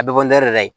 A bɛ bɔ la